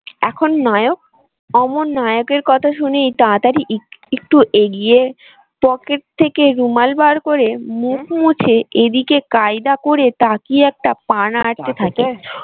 এখন নায়ক? অমন নায়কের কথা শুনেই তাড়াতাড়ি একটু এগিয়ে পকেট থেকে রুমাল বার করে মুছে এদিকে কায়দা করে তাকিয়ে একটা পা